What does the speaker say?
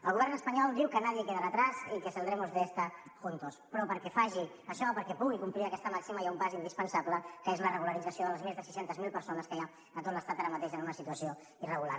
el govern espanyol diu que nadie quedará atrás i que saldremos de esta juntos però perquè faci això perquè pugui complir aquesta màxima hi ha un pas indispensable que és la regularització de les més de sis cents miler persones que hi ha a tot l’estat ara mateix en una situació irregular